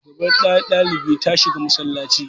shugabar ɗalibi ta shiga masallaci